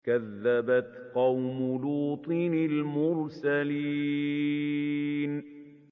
كَذَّبَتْ قَوْمُ لُوطٍ الْمُرْسَلِينَ